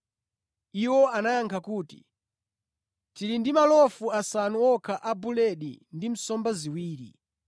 Iwo anayankha kuti, “Tili ndi malofu asanu okha a buledi ndi nsomba ziwiri.”